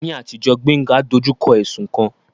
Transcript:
Ní àtijọ́, Gbénga dojú kọ ẹ̀sùn kan